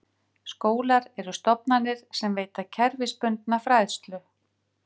Skólar eru stofnanir sem veita kerfisbundna fræðslu.